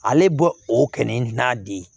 Ale bɔ o kɛnɛ n'a di ye